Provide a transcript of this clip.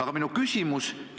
Aga minu küsimus on selline.